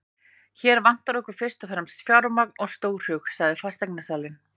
Hér vantar okkur fyrst og fremst fjármagn og stórhug, sagði fasteignasalinn.